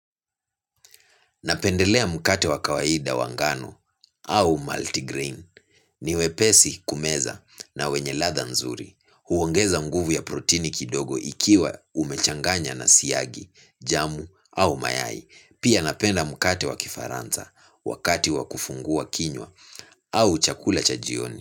Napendelea mkate wa kawaida wa ngano au multigrain. Niwepesi kumeza na wenye latha nzuri. Huongeza nguvu ya protini kidogo ikiwa umechanganya na siagi, jamu au mayai. Pia napenda mkate wa kifaranza wakati wakufungua kinywa au chakula cha jioni.